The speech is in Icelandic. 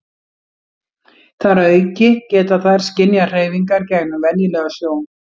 þar að auki geta þær skynjað hreyfingar gegnum venjulega sjón